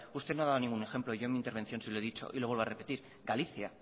usted no ha dado ningún ejemplo yo en mi intervención sí lo he dicho y lo vuelvo a repetir galicia